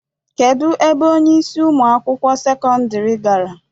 Kedu ebe onyeisi Ụmụ akwụkwọ sekọndrị gara?